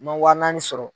N ma wa naani sɔrɔ